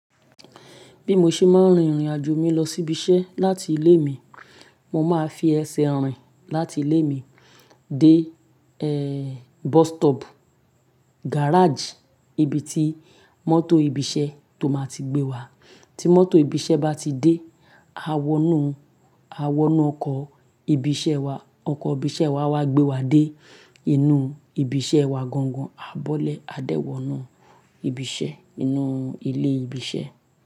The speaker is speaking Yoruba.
Bí mo ṣe máa ń rìnrìnàjò mi lọ sí ibi iṣẹ́ láti ilé mi, mo máa fi ẹsẹ̀ rìn láti ilé mi dé, eh, bus stop, garage, ibi tí mọ́tò ibi iṣẹ́ tó máa ti gbé wa. Tí mọ́tò ibi iṣẹ́ bá ti dé, a wọnú, a wọnú ọkọ̀ ibi iṣẹ́ wa, ọkọ̀ ibi iṣẹ́ wa a wá gbé wa dé inú ibi iṣẹ́ wa gan gan, a bọ́lẹ̀, a dẹ́ wọ̀nù ibi iṣẹ́ inú ilé ibi iṣẹ́